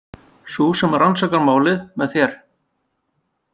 Sú sem rannsakar málið með þér.